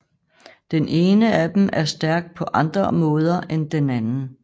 Den ene af dem er stærk på andre måde end den anden